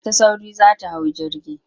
Tana ta sauri za ta hau jirgi.